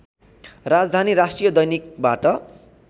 राजधानी राष्ट्रिय दैनिकबाट